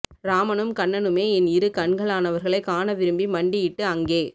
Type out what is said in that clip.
ராமனும் கண்ணனுமே என் இரு கண்களானவர்களை காண விரும்பி மண்டி இட்டு அங்கே